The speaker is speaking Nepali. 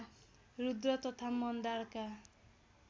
रुद्र तथा मन्दारका